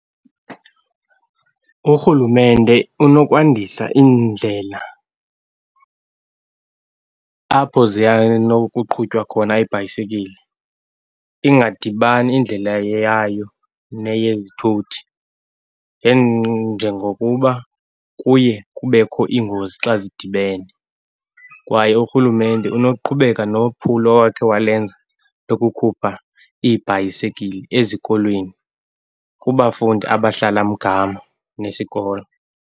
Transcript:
Urhulumente unokwandisa iindlela apho nokuqhutywa khona iibhayisikile, ingadibani indlela yayo neyezithuthi , njengokuba kuye kubekho iingozi xa zidibene, kwaye urhulumente unoqhubeka nophulo owakhe walenza, lokukhupha iibhayisekili ezikolweni kubafundi abahlala mgama nesikolo.